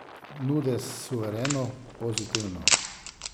Nude suvereno, pozitivno.